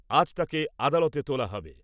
আজ তাকে আদালতে তোলা হবে।